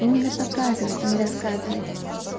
именно показывать не рассказывать